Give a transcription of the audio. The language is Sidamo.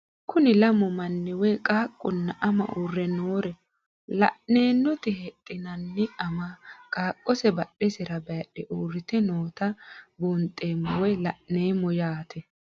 Kuni lamu manni woyi qaqunna ama u're noore lan'enoti hexenani ama qaqose badhesera bayidhe uurite noota buunxemo woyi la'nemo yaate